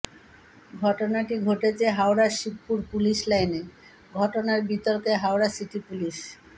ঘটনাটি ঘটেছে হাওড়া শিবপুর পুলিশ লাইনে ঘটনায় বিতর্কে হাওড়া সিটি পুলিশ